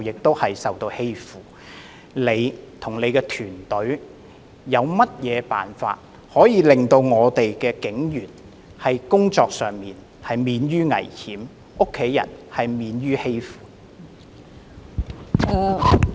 特首，你和你的團隊有甚麼辦法可以令警員的工作免於危險，令他們的家人免於被欺負？